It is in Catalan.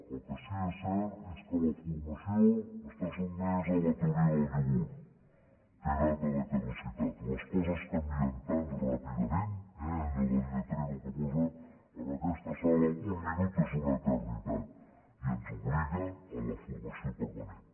el que sí és cert és que la formació està sotmesa a la teoria del iogurt té data de caducitat les coses canvien tan ràpidament eh allò del rètol que posa en aquesta sala un minut és una eternitat i ens obliga a la formació permanent